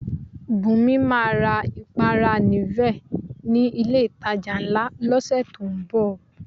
Bùnmi máa ra ìpara Nivea ni ilé-ìtajà ńlá lọ́sẹ̀ tó ń bọ̀